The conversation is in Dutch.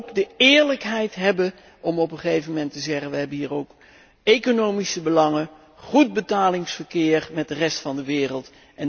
Maar laten we ook de eerlijkheid hebben om op een gegeven moment te zeggen 'We hebben hier ook economische belangen, namelijk goed betalingsverkeer met de rest van de wereld.'